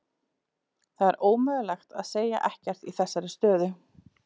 Það er ómögulegt að segja ekkert í þessari stöðu.